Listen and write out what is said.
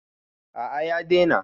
A'a ya daina.